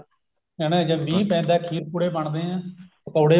ਹਨਾ ਜਦ ਮੀਂਹ ਪੈਂਦਾ ਖੀਰ ਪੁੜੇ ਬਣਾਏ ਜਾਂਦੇ ਨੇ ਪਕੋੜੇ